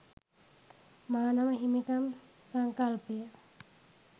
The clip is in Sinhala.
මානව හිමිකම් සංකල්පය